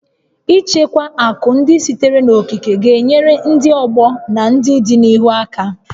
Ichekwa akụ ndị sitere n'okike ga-enyere ndị ọgbọ n'ọdịnihu aka